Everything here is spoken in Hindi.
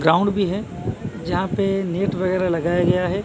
ग्राउंड भी है। जहां पे नेट वगैराह लगाया गया हैं।